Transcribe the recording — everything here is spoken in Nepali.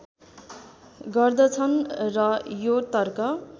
गर्दछन् र यो तर्क